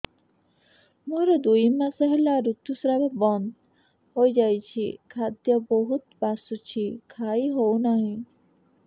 ମୋର ଦୁଇ ମାସ ହେଲା ଋତୁ ସ୍ରାବ ବନ୍ଦ ହେଇଯାଇଛି ଖାଦ୍ୟ ବହୁତ ବାସୁଛି ଖାଇ ହଉ ନାହିଁ